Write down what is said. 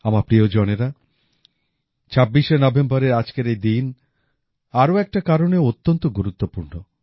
আমার প্রিয়জনেরা ২৬ নভেম্বরের আজকের এই দিন আরও একটা কারণেও অত্যন্ত গুরুত্বপূর্ণ